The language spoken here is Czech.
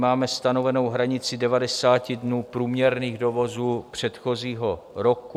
Máme stanovenou hranici 90 dnů průměrných dovozů předchozího roku.